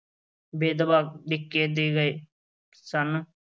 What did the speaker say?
ਬੇਦਾਵਾ ਲਿਖ ਕੇ ਦੇ ਗਏ ਸਨ।